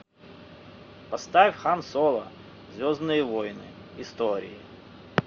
поставь хан соло звездные войны истории